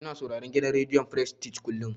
Ina sauraron gidan rediyon frestij kullum.